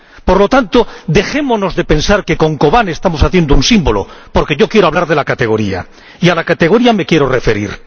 Por lo tanto, dejémonos de pensar que con Kobane estamos haciendo un símbolo, porque yo quiero hablar de la categoría, y a la categoría me quiero referir.